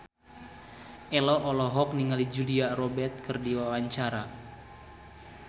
Ello olohok ningali Julia Robert keur diwawancara